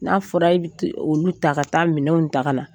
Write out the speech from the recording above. N'a fɔra e bi olu ta, ka taa minɛnw ta ka na